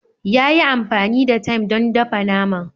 Ya yi amfani da thyme don dafa naman